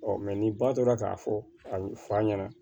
ni ba tora k'a fɔ a bɛ fa ɲɛna